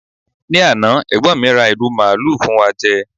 ni Ana egbon mi ra iru maalu fún wa je